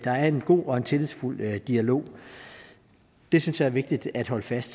er en god og tillidsfuld dialog det synes jeg er vigtigt at holde fast